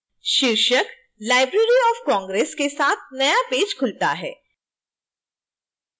शीर्षक library of congress के साथ नया पेज खुलता है